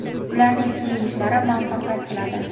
ularning keyingi ishlari muvaffaqiyat tiladi.